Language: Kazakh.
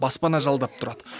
баспана жалдап тұрады